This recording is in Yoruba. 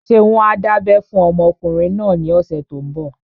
Ṣé wọ́n á dábẹ́ fún ọmọkùnrin náà ní ọ̀sẹ̀ tó n bọ̀?